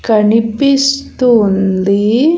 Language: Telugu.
కనిపిస్తుంది.